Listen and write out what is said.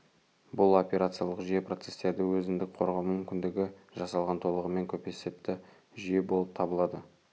бұл операциялық жүйе процестерді өзіндік қорғау мүмкіндігі жасалған толығымен көпесепті жүйе болып табылады